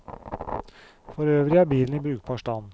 Forøvrig er bilen i brukbar stand.